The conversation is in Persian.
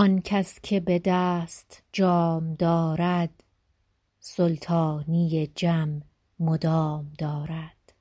آن کس که به دست جام دارد سلطانی جم مدام دارد